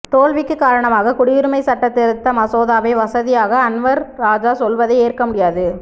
தோல்விக்கு காரணமாக குடியுரிமை சட்ட திருத்த மசோதாவை வசதியாக அன்வர் ராஜா சொல்வதை ஏற்க முடியாது